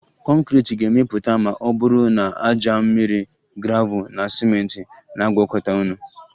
Conkriti ga-emepụta ma ọ bụrụ na ájá, mmiri, gravel na ciment na-agwakọta ọnụ